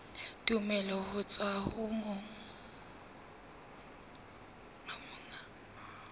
tumello ho tswa ho monga